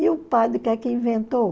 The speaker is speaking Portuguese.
E o padre que é que inventou?